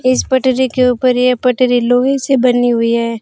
इस पटरी के ऊपर ये पटरी लोहे से बनी हुई है।